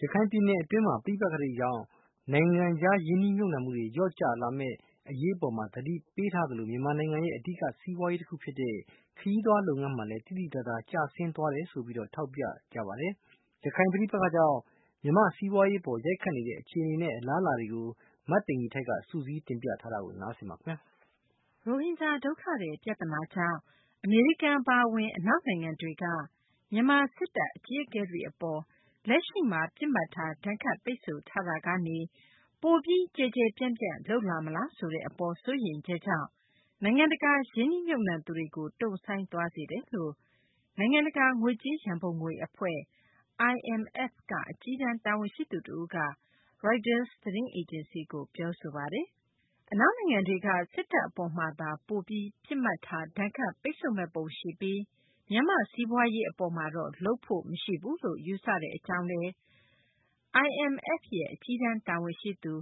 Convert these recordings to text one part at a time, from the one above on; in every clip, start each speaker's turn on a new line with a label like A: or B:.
A: ရခိုင်ပြည်နယ်တွင်း ပဋိပက္ခတွေကြောင့် နိုင်ငံခြား ရင်းနှီးမြှုပ်နှံမှုတွေ လျော့ကျမယ့် အရေးအပေါ် သတိပေးထားသလို မြန်မာနိုင်ငံရဲ့ အဓိက စီးပွားရေး တခု ဖြစ်တဲ့ ခရီးသွားလုပ်ငန်းမှာလည်း သိသိသာသာ ကျဆင်းသွားတယ်လို့ ထောက်ပြထားကြပါတယ်။ ရခိုင်ပဋိပက္ခကြောင့် မြန်မာ့ စီးပွားရေး အပေါ် ရိုက်ခတ်နေတဲ့ အခြေအနေ အလားအလာတွေကို မသိင်္ဂ ီထိုက် စုစည်းတင်ပြထားပါတယ်။ ရိ
B: ုဟင်ဂျာ ဒုက္ခသည် ပြသနာကြောင့် အမေရိကန် အပါအဝင် အနောက်နိုင်ငံတွေက မြန်မာ စစ်တပ်အကြီးအကဲတွေ အပေါ် လက်ရှိမှာ ပစ်မှတ်ထား ဒဏ်ခတ်ပိတ်ဆို့ထားတာကနေ ပိုပြီး ကျယ်ကျယ်ပြန့်ပြန့် လုပ်လာမလားဆိုတဲ့ အပေါ် စိုးရိမ်ချက်ကြောင့် နိုင်ငံတကာ ရင်းနှီးမြှုပ်နှံသူတွေကို တုံ့ဆိုင်းသွားစေတယ်လို့ နိုင်ငံတကာ ငွေကြေး ရံပုံငွေ အဖွဲ့ IMF က အကြီးတန်း တာဝန်ရှိသူ တဦးက ရိုက်တာ သတင်းအေဂျင်စီကို ပြောဆိုထားပါတယ်။ အနောက်နိုင်ငံတွေက စစ်တပ်အပေါ်မှာသာ ပိုပြီး ပစ်မှတ်ထား ဒဏ်ခတ်ပိတ်ဆို့မယ့်ပုံရှိပြီး မြန်မာ့ စီးပွားရေး အပေါ်မှာတော့ လုပ်ဖို့ မရှိဘူးလို့ ယူဆထားတဲ့ အကြောင်းလည်း IMF ရဲ့ အကြီးတန်း တာဝန်ရှိသူ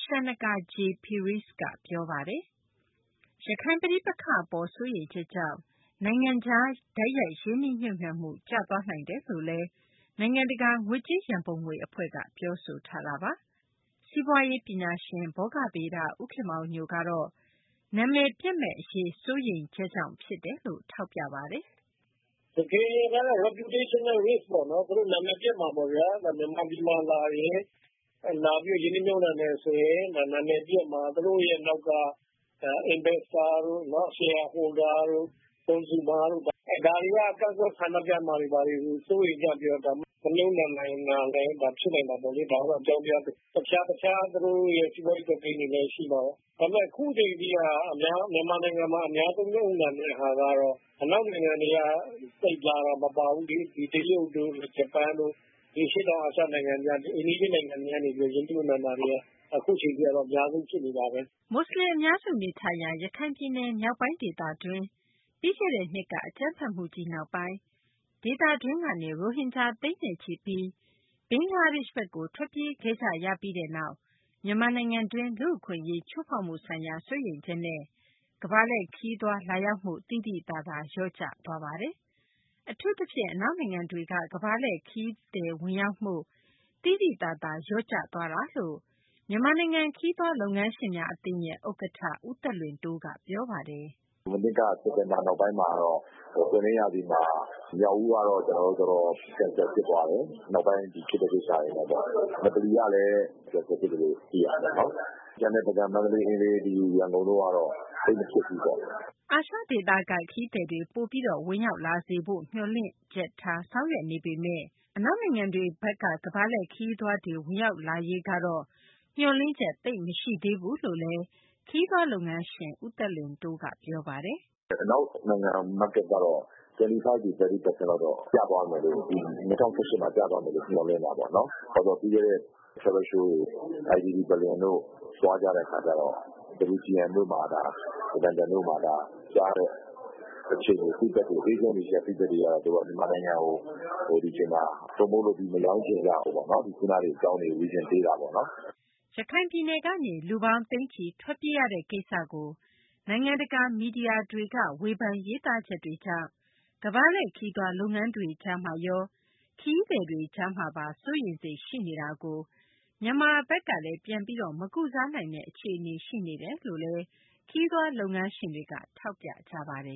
B: Shanaka Jay Peiris က ပြောဆိုပါတယ်။ ရခိုင် ပဋိပက္ခအပေါ် စိုးရိမ်ချက်ကြောင့် နိုင်ငံခြား တိုက်ရိုက် ရင်းနှီးမြှုပ်နှံမှု ကျသွားနိုင်တယ်လို့လည်း နိုင်ငံတကာ ငွေကြေး ရံပုံငွေ အဖွဲ့ IMF က ပြောဆိုထားပါတယ်။ စီးပွားရေးပညာရှင် ဘောဂဗေဒ ဦးခင်မောင်ညိုကတော့ နာမည်ပျက်မယ့် အရေး စိုးရိမ်ချက်ဖြစ်တယ်လို့ ထောက်ပြပါတယ်။
A: “တကယ်တမ်း သူတို့ နာမည်ပျက်မှာပေါ့ဗျာ။ မြန်မာပြည်သူတို့လာပြီး ရင်းနှီးမြှုပ်နှံမယ်ဆိုရင် သူတို့ နာမည်ပျက်မှာ။ သူတို့ရဲ့နောက်က ရင်းနှီးမြှုပ်နှံသူတွေ၊ အစုရှယ်ယာဝင်တွေ၊ နောက် သုံးစွဲသူတွေ ဒါတွေက ကန့်ကွက်ဆန္ဒပြမှာတွေကို စိုးရိမ်ကြပြီးတော့ လာပြီး ရင်းနှီးမြှုပ်နှံတာတွေ မလုပ်တာလည်းဖြစ်နိုင်တာပေါ့။ အခြားသူတို့ရဲ့ စီးပွားရေးတွက်ကိန်းတွေလည်းရှိမှာပေါ့။ ဒါပေမယ့် အခုချိန်ထိက မြန်မာနိုင်ငံမှာ အများဆုံးမြှုပ်နှံတဲ့ဟာကတော့ အနောက်နိုင်ငံတွေက သိပ်မပါဘူး။ တရုတ်၊ ဂျပန်၊ အရှေ့တောင်အာရှနိုင်ငံတွေ၊ အိမ်နီးချင်းနိုင်ငံတွေက ရင်းနှီးမြှုပ်နှံတာတွေက အခုချိန်ထိက အများဆုံးဖြစ်နေတာ။
B: ” မူဆလင် အများစု နေထိုင်ရာ ရခိုင်ပြည်နယ် မြောက်ပိုင်း ဒေသတွင်း ပြီးခဲ့တဲ့နှစ်က အကြမ်းဖက်မှုကြီး နောက်ပိုင်း ဒေသတွင်းကနေ ရိုဟင်ဂျာ သိန်းနဲ့ချီပြီး ဘင်္ဂလားဒေရှ့်ဘက်ကို ထွက်ပြေးခဲ့ကြရပြီးနောက် မြန်မာနိုင်ငံတွင်း လူ့အခွင့်အရေး ချိုးဖောက်မှုဆိုင်ရာ စိုးရိမ်ချက်နဲ့ ကမ္ဘာလှည့်ခရီးသွားတွေ လာရောက်မှု သိသိသာသာ လျော့ကျသွားတာပါ။ အထူးသဖြင့် အနောက်နိုင်ငံတွေက ကမ္ဘာလှည့် ခရီးသွား ဝင်ရောက်မှု သိသိသာသာ လျော့ကျသွားတာ ဖြစ်တယ်လို့ မြန်မာနိုင်ငံ ခရီးသွားလုပ်ငန်းရှင်များအသင်း ဥက္ကဌ ဦးသက်လွင်တိုးက ပြောပါတယ်။
C: “မနှစ်က စက်တင်ဘာနောက်ပိုင်းမှာကတော့ ပွင့်လင်းရာသီမှာ မြောက်ဦးကတော့တော်တော်ကျသွားတယ်။ နောက်ပိုင်းဖြစ်တဲ့ ကိစ္စတွေနဲ့ပေါ့။ ငပလီကလည်း ဖျက်သိမ်းမှုတွေရှိတယ်လို့သိရတယ်။ ကျန်တဲ့ ပုဂံ၊ မန္တလေး၊ ရန်ကုန်တို့ကတော့ သိပ်မဖြစ်ဘူးပေါ့။
B: ” အာရှက ခရီးသည်တွေ ပိုပြီး ဝင်ရောက်လာစေဖို့ မျှော်လင့်ချက်ထား ဆောင်ရွက်နေပေမယ့် အနောက်နိုင်ငံတွေဘက်က ကမ္ဘာလှည့် ခရီးသွားတွေ ဝင်ရောက်လာရေးကတော့ မျှော်လင့်ချက် သိပ်မရှိသေးဘူးလို့လည်း ခရီးသွား လုပ်ငန်းရှင် ဦးသက်လွင်တိုးက ပြောပါတယ်
C: ။ “ အနောက်နိုင်ငံ ဈေးကွက်ကတော့ ၂၀၁၈မှာ ၂၅%ကနေ ၃၀% ထိကျသွားမယ်လို့ မျှော်လင့်တာပေါ့နော်။” ရခိုင်
B: ပြည်နယ်ကနေ လူပေါင်း သိန်းချီ ထွက်ပြေးရတဲ့ ကိစ္စကို နိုင်ငံတကာ မီဒီယာတွေက ဝေဖန်ရေးသားချက်တွေကြောင့် ကမ္ဘာ့လှည့် ခရီးသွား လုပ်ငန်းတွေကြားမှာရော ခရီးသွားတွေ ကြားမှာပါ စိုးရိမ်စိတ် ရှိနေတာကို မြန်မာဘက်ကလည်း ပြန်လည် မကုစားနိုင်တဲ့ အခြေအနေ ရှိနေတယ်လို့လည်း ခရီးသွားလုပ်ငန်းရှင်တွေက ထောက်ပြပါတယ်